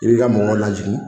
I b'i ka mɔgɔ hakili jigin